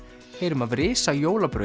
heyrum af risa